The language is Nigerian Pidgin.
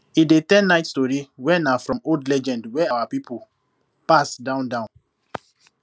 he dey tell night story wey na from old legend wey our people pass down down